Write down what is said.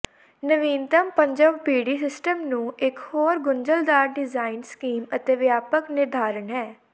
ਨਵੀਨਤਮ ਪੰਜਵ ਪੀੜ੍ਹੀ ਸਿਸਟਮ ਨੂੰ ਇੱਕ ਹੋਰ ਗੁੰਝਲਦਾਰ ਡਿਜ਼ਾਇਨ ਸਕੀਮ ਅਤੇ ਵਿਆਪਕ ਨਿਰਧਾਰਨ ਹੈ